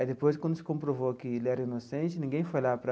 Aí depois, quando se comprovou que ele era inocente, ninguém foi lá para...